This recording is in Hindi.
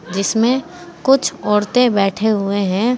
जिसमें कुछ औरतें बैठे हुए हैं।